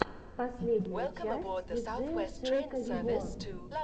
последняя часть диджея шейка виво